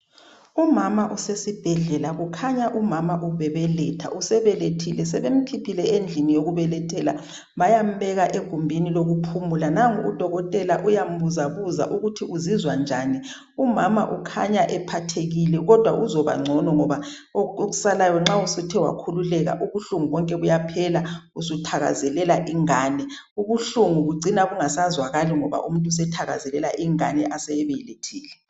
Umama usesibhedlela kukhanya umama ubebeletha usebelethile sebemkhiphele indlini yokubelethela bayambeka egumbini lokuphumula nango udokotela uyambuza buza ukuthi uzizwa njani umama ukhanya ephathekile kodwa uzabangcono ngoba okusalayo nxa usuthe wakhululeka ubuhlungu bonke buyaphela usuthakazelela ingane, ubuhlungu kucina kungasazwakali umuntu esethakazela ingani oseyibelethile